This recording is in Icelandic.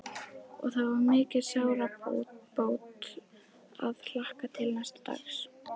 Og það var mikil sárabót að hlakka til næsta dags.